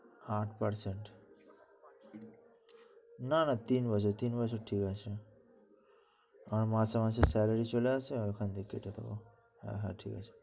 আট percent । না না তিন বছর, তিন বছর ঠিক আছে। আমার মাসে মাসে salary চলে আসে, ওখান থেকে কেটে দেবো, হ্যাঁ ঠিক আছে।